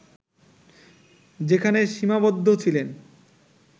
যেখানে সীমাবদ্ধ ছিলেন